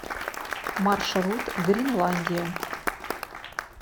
маршрут гринландия